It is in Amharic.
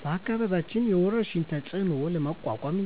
በአካባቢያችን የወረርሽኝን ተፅዕኖ ለመቋቋም